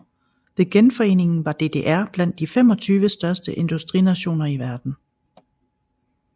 Ved genforeningen var DDR blandt de 25 største industrinationer i verden